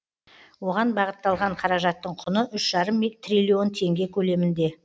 оған бағытталған қаражаттың құны үш жарым триллион теңге көлемінде